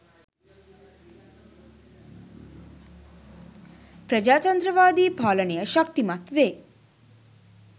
ප්‍රජාතන්ත්‍රවාදි පාලනය ශක්තිමත් වේ.